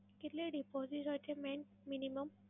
કેટલી deposit હોય છે main minimum?